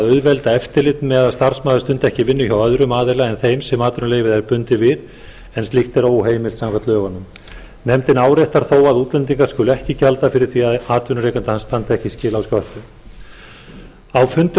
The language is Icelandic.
auðvelda eftirlit með að starfsmaður stundi ekki vinnu hjá öðrum aðila en þeim sem atvinnuleyfið er bundið við en slíkt er óheimilt samkvæmt lögunum nefndin áréttar þó að útlendingur skuli ekki gjalda fyrir ef atvinnurekandi hans standi ekki skil á sköttum á fundum